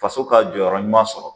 Faso k'a jɔyɔrɔ ɲuman sɔrɔ